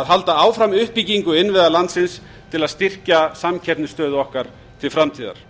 að halda áfram uppbyggingu innviða landsins til að styrkja samkeppnisstöðu okkar til framtíðar